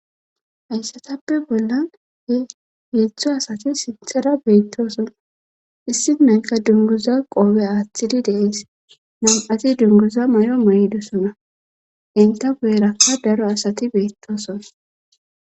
Hayssatappe bolla he heethu asati sintera beettosona issi nayka dunguza qoobe aaththidi deees nam7ati dunguza may7o may7dosona inta guyerakka daro asati beettosona